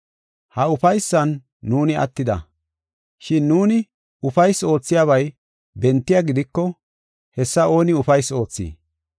Ha ufaysan nuuni attida. Shin nuuni ufaysi oothiyabay bentiya gidiko hessa ooni ufaysi oothii?